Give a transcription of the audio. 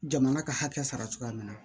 Jamana ka hakɛ sara cogoya min na